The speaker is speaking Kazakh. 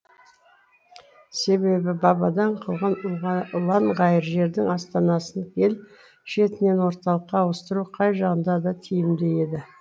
себебі бабадан қалған ұланғайыр жердің астанасын ел шетінен орталыққа ауыстыру қай жағынан да тиімді еді